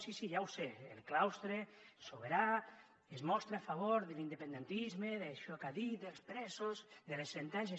sí sí ja ho sé el claustre sobirà es mostra a favor de l’independentisme d’això que ha dit dels presos de la sentència